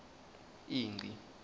ingci